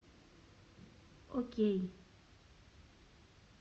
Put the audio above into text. окей